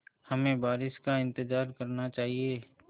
हमें बारिश का इंतज़ार करना चाहिए